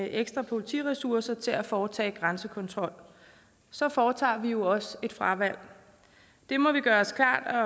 ekstra politiressourcer til at foretage grænsekontrol så foretager vi også et fravalg det må vi gøre os klart